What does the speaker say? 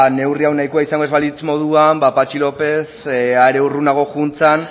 neurri hau nahikoa izango ez balitz moduan ba patxi lópez are urrunago joan zen